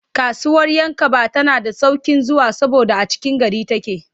Kasuwar 'Yankaba tana da sauƙin zuwa saboda a cikin gari take.